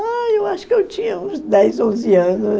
Ah, eu acho que eu tinha uns dez, onze ano